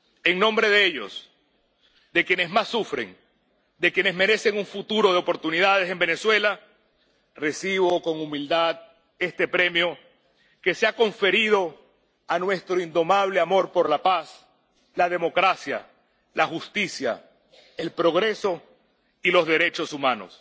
En nombre de ellos, de quienes más sufren, de quienes merecen un futuro de oportunidades en Venezuela, recibo con humildad este premio, que se ha conferido a nuestro indomable amor por la paz, la democracia, la justicia, el progreso y los derechos humanos.